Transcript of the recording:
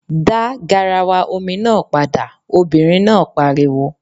Dá garawa omi náà padà! Obìnrin náà pariwo.